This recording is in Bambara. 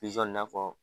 Pizɔn n'a fɔ